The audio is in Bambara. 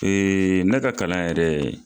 ne ka kalan yɛrɛ